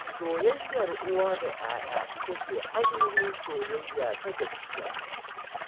Soyayyar uwa da 'ya'ya ita ce ainihin soyayya ta gaskiya.